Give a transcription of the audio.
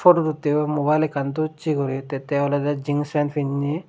pudot uttegoi mubile ekkan dossey guri tey tey oley jins pen pinney.